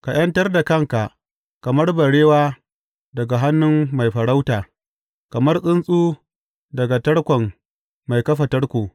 Ka ’yantar da kanka, kamar barewa daga hannun mai farauta, kamar tsuntsu daga tarkon mai kafa tarko.